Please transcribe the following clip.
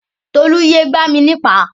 Tolú yé gbá mi ní ìpá.